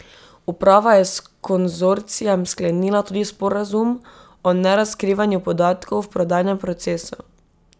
Uprava je s konzorcijem sklenila tudi sporazum o nerazkrivanju podatkov v prodajnem procesu.